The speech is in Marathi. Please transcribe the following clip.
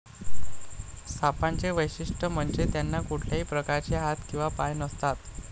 सापांचे वैशिष्ठ म्हणजे त्यांना कुठल्याही प्रकारचे हात किंवा पाय नसतात.